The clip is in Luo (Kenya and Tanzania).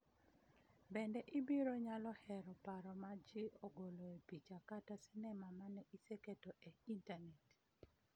Bende, ibiro nyalo hero paro ma ji ogoloe picha kata sinema mane iseketo e internet